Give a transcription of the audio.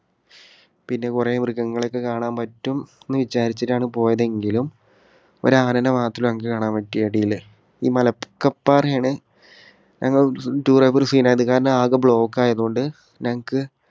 പിന്നെ കുറേ മൃഗങ്ങളെ ഒക്കെ കാണാൻ പറ്റും എന്നു വിചാരിച്ചിട്ടാണ് പോയതെങ്കിലും ഒരു ആനനെ മാത്രം ഞങ്ങൾക്ക് കാണാൻ പറ്റി അടിയില്. ഈ മലക്കപ്പാറ ആണ് ഞങ്ങൾ tour പോയപ്പോൾ ഒരു കാരണം ആകെ block ആയതുകൊണ്ട് ഞങ്ങൾക്ക്